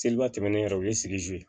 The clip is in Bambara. Seliba tɛmɛnen yɛrɛ o ye